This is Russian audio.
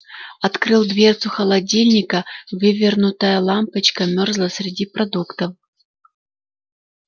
открыл дверцу холодильника вывернутая лампочка мёрзла среди продуктов